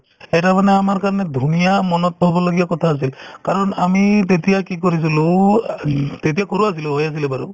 সেইটোয়ে মানে আমাৰ কাৰণে মানে ধুনীয়া মনত থবলগীয়া কথা আছিল কাৰণ আমি তেতিয়া কি কৰিছিলো তেতিয়া সৰু আছিলো আছিলে বাৰু